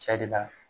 Cɛ de la